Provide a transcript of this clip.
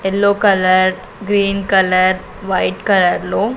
yellow colour green colour white కలర్లో --